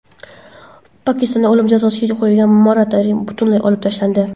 Pokistonda o‘lim jazosiga qo‘yilgan moratoriy butunlay olib tashlandi.